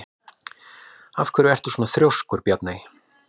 Af hverju ertu svona þrjóskur, Bjarney?